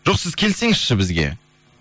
жоқ сіз келсеңізші бізге